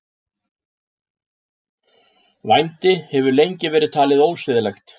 Vændi hefur lengi verið talið ósiðlegt.